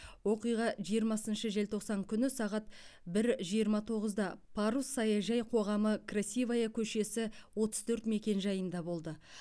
оқиға жиырмасыншы желтоқсан күні сағат бір жиырма тоғызда парус саяжай қоғамы красивая көшесі отыз төрт мекенжайында болды